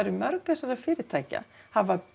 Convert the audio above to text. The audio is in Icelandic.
mörg þessara fyrirtækja hafa